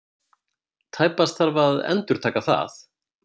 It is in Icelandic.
Tæpast þarf að endurtaka það.